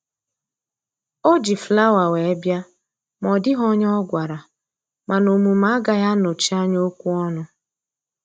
O ji flawa wee bịa ma ọ dịghị onye ọ gwara, mana omume agaghị anọchi anya okwu ọnụ